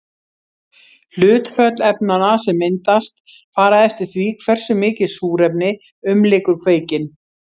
Hlutföll efnanna sem myndast fara eftir því hversu mikið súrefni umlykur kveikinn.